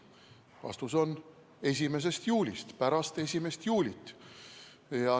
Vastus on: 1. juulist, pärast 1. juulit.